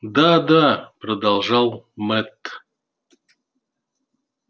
да да продолжал мэтт